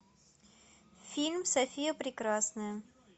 фильм софия прекрасная